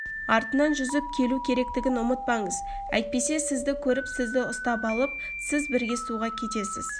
артынан жүзіп келу керектігін ұмытпаңыз әтпесе сізді көріп сізді ұстап алып сіз бірге суға кетесіз